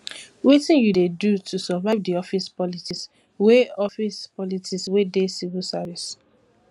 wetin you dey do to survive di office politics wey office politics wey dey civil service